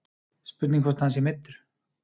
Spurning hvort að hann sé meiddur.